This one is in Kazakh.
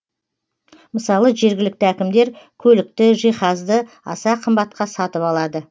мысалы жергілікті әкімдер көлікті жиһазды аса қымбатқа сатып алады